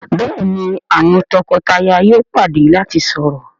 Béèni àwọn toko-taya yóò pàdé lati sọrọ..